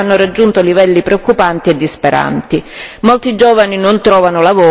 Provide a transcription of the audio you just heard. Molti giovani non trovano lavoro e per questo motivo sono costretti ad emigrare.